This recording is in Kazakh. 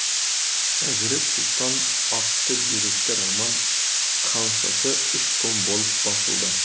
әзірет сұлтан атты деректі роман хамсасы үш том болып басылды